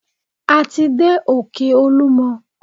A ti dé òkè olúmọ.